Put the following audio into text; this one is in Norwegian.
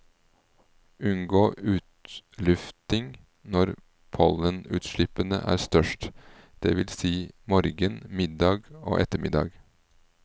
Unngå utlufting når pollenutslippene er størst, det vil si morgen, middag og ettermiddag.